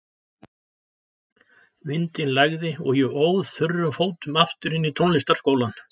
Vindinn lægði og ég óð þurrum fótum aftur inn í tónlistarskólann.